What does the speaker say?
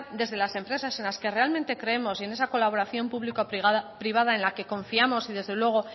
desde las empresas en la que realmente creemos y en esa colaboración público privada en la que confiamos y desde luego